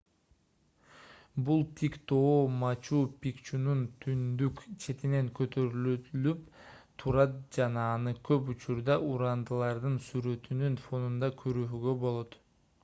бул тик тоо мачу-пикчунун түндүк четинен көтөрүлүлүп турат жана аны көп учурдаа урандылардын сүрөтүнүн фонунда көрүүгө болот